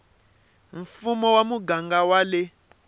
mfumo wa muganga wa le